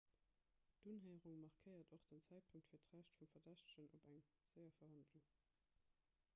d'unhéierung markéiert och den zäitpunkt fir d'recht vum verdächtegen op eng séier verhandlung